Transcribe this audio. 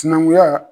Sinankunya